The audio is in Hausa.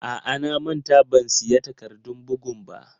A'a, na manta ban siya takardun bugun ba.